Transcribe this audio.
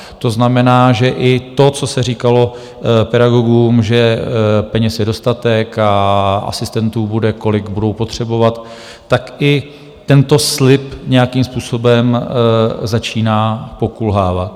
To znamená, že i to, co se říkalo pedagogům, že peněz je dostatek a asistentů bude, kolik budou potřebovat, tak i tento slib nějakým způsobem začíná pokulhávat.